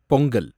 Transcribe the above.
Pongal